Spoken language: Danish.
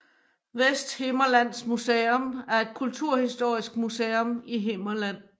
Vesthimmerlands Museum er et kulturhistorisk museum i Himmerland